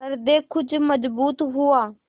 हृदय कुछ मजबूत हुआ